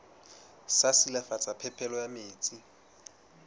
sa silafatsa phepelo ya metsi